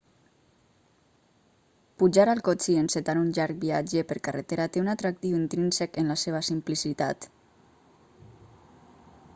pujar al cotxe i encetar un llarg viatge per carretera té un atractiu intrínsec en la seva simplicitat